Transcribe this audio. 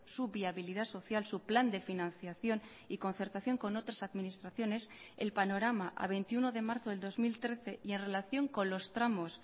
su viabilidad social su plan de financiación y concertación con otras administraciones el panorama a veintiuno de marzo del dos mil trece y en relación con los tramos